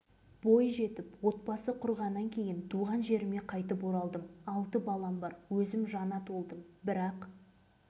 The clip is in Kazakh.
бала кезімде әке-шешем қайтыс болғаннан кейін семей облысы бесқарағай ауданы бөдене ауылындағы ағайындарымның қолында тәрбиелендім